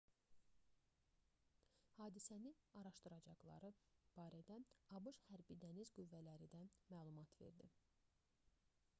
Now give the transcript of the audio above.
hadisəni araşdıracaqları barədə abş hərbi dəniz qüvvələri də məlumat verdi